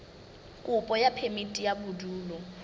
kopo ya phemiti ya bodulo